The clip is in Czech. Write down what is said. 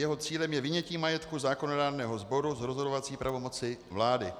Jeho cílem je vynětí majetku zákonodárného sboru z rozhodovací pravomoci vlády.